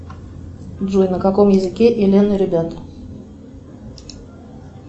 джой на каком языке элен и ребята